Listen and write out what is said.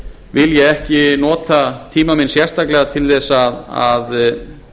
vil ég ekki nota tíma minn sérstaklega til þess að